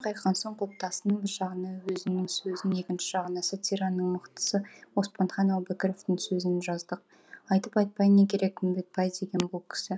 қайтқан соң құлыптасының бір жағына өзінің сөзін екінші жағына сатираның мықтысы оспанхан әубәкіровтың сөзін жаздық айтып айтпай не керек үмбетбай деген бұл кісі